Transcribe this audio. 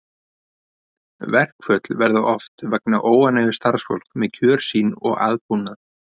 Verkföll verða oft vegna óánægju starfsfólks með kjör sín og aðbúnað.